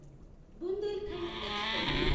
Bundelkhand express